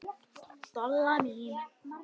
Dolla mín.